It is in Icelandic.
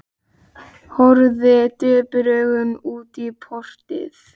Horfði döprum augum út í portið.